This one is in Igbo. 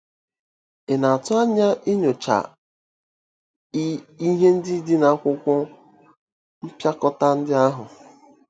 Ị̀ na-atụ anya inyocha ihe ndị dị n'akwụkwọ mpịakọta ndị ahụ?